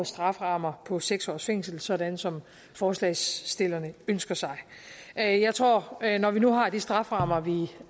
strafferammer på seks års fængsel sådan som forslagsstillerne ønsker sig jeg jeg tror at når vi nu har de strafferammer vi